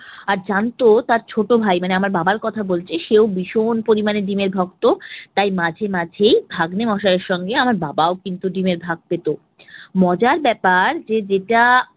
আর জানতো তার ছোট ভাই মানে আমার বাবার কথা বলছি সেও ভীষণ পরিমালে ডিমের ভক্ত, তাই মাঝে মাঝেই ভাগ্নে মশাইয়ের সঙ্গে আমার বাবাও কিন্তু ডিমের ভাগ পেত। মজার ব্যাপার যে যেটা